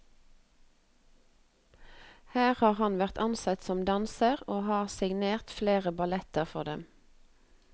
Her har han vært ansatt som danser og har signert flere balletter for dem.